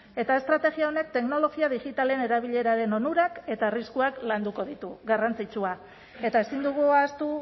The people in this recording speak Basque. eta estrategia honek teknologia digitalen erabileraren onurak eta arriskuak landuko ditu garrantzitsua eta ezin dugu ahaztu